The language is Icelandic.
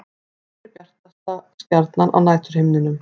Hver er bjartasta stjarnan á næturhimninum?